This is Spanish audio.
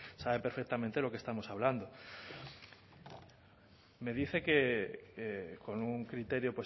sabe perfectamente de lo que estamos hablando me dice que con un criterio